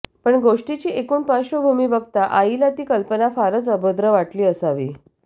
पण गोष्टीची एकूण पार्श्वभूमी बघता आईला ती कल्पना फारच अभद्र वाटली असावी